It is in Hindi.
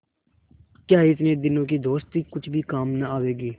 क्या इतने दिनों की दोस्ती कुछ भी काम न आवेगी